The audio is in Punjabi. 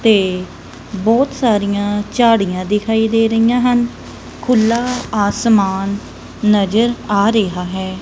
ਤੇ ਬਹੁਤ ਸਾਰੀਆਂ ਝਾੜੀਆਂ ਦਿਖਾਈ ਦੇ ਰਹੀਆਂ ਹਨ ਖੁੱਲਾ ਆਸਮਾਨ ਨਜ਼ਰ ਆ ਰਿਹਾ ਹੈ।